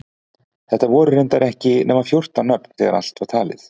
Þetta voru reyndar ekki nema fjórtán nöfn þegar allt var talið.